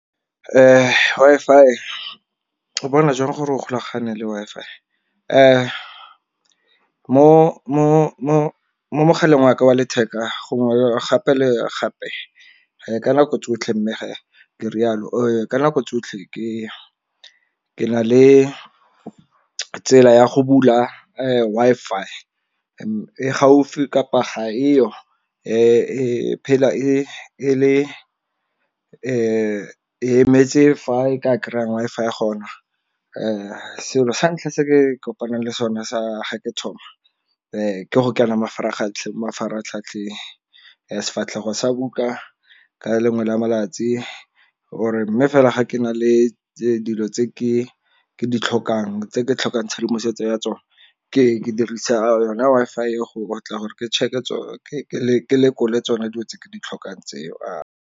Wi-Fi o bona jang gore o golagane le Wi-Fi? Mo mogaleng wa ka wa letheka gongwe gape le gape ka nako tsotlhe mme ke rialo ka nako tsotlhe ke na le tsela ya go bula Wi-Fi e gaufi kapa ga eo e phela e le e metse fa e ka kry-ang Wi-Fi gona. Selo sa ntlha se ke kopanang le sone sa ga ke thoma ke go kena mafaratlhatlheng, sefatlhego sa buka ka lengwe le a malatsi or-e mme fela ga ke na le dilo tse ke ditlhokang tse ke tlhokang tshedimosetso ya tsone ke ke dirisa yona Wi-Fi eo gore ke check-e ke lekole tsona dilo tse ke di tlhokang tseo.